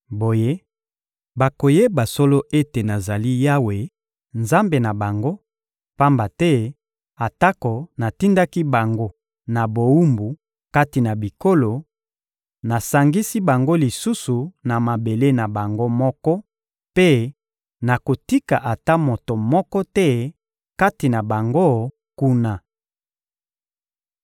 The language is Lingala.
Boye, bakoyeba solo ete nazali Yawe, Nzambe na bango; pamba te atako natindaki bango na bowumbu kati na bikolo, nasangisi bango lisusu na mabele na bango moko mpe nakotika ata moto moko te kati na bango kuna.